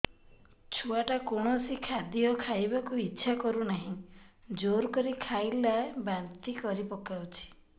ଛୁଆ ଟା କୌଣସି ଖଦୀୟ ଖାଇବାକୁ ଈଛା କରୁନାହିଁ ଜୋର କରି ଖାଇଲା ବାନ୍ତି କରି ପକଉଛି